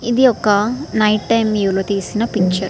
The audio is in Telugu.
ఇది ఒక నైట్ టైం వ్యూలో తీసిన పిక్చర్ .